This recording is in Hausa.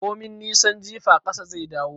Komin nisan jifa ƙasa zai dawo